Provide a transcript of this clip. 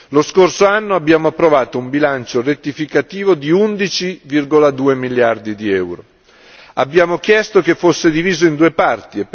Lo scorso anno abbiamo approvato un bilancio rettificativo di 11,2 miliardi di euro. Perché abbiamo chiesto che fosse diviso in due parti?